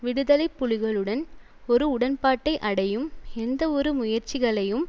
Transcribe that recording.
விடுதலை புலிகளுடன் ஒரு உடன்பாட்டை அடையும் எந்தவொரு முயற்சிகளையும்